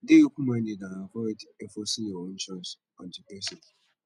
dey open minded and avoid enforcing your own choice on di person